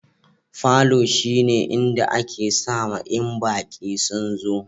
Falo shine inda ake sama in baki sun zo.